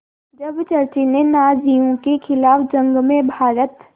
जब चर्चिल ने नाज़ियों के ख़िलाफ़ जंग में भारत